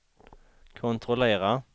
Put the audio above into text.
kontrollera